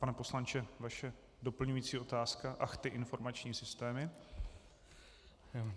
Pane poslanče, vaše doplňující otázka - ach, ty informační systémy.